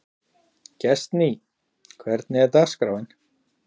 Gestný, hvernig er dagskráin?